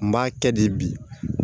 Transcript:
N b'a kɛ de bi